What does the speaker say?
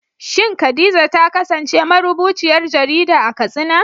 Shin Khadija ta kasance marubuciyar jarida a Katsina?